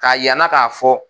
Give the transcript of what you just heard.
Ka yira n na k'a fɔ